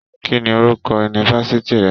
Kínní orúkọ yunifásítì rẹ?